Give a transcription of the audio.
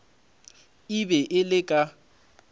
e be e le ka